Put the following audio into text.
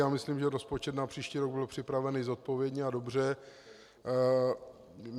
Já myslím, že rozpočet na příští rok byl připravený zodpovědně a dobře.